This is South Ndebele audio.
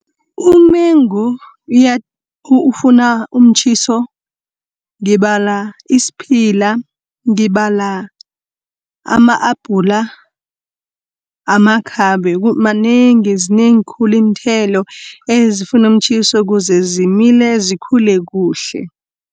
Umengu ufuna umtjhiso, ngibala isiphila, ngibala ama-apula, amakhabe zinengi khulu iinthelo ezifunu umtjhiso kuze zimile, zikhule kuhle.